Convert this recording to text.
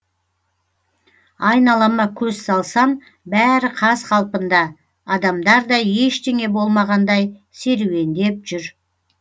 айналама көз салсам бәрі қаз қалпында адамдар да ештеңе болмағандай серуендеп жүр